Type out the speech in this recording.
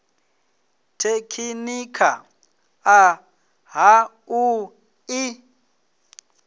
tekhinikha ḽa ha u ḓi